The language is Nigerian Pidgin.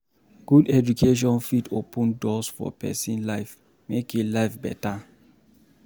Good education fit open doors for pesin life make em life beta.